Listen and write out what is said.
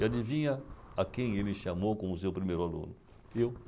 E adivinha a quem ele chamou como seu primeiro aluno? Eu.